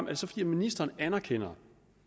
det så fordi ministeren anerkender